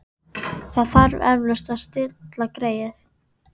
Það þarf eflaust að stilla greyið.